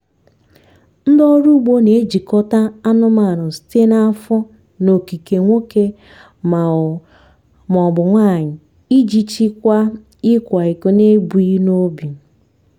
ndị ọrụ ugbo na-ejikọta anụmanụ site na afọ na okike nwoke ma ọ ma ọ bụ nwanyị iji chịkwaa ịkwa iko n'ebughị n'obi.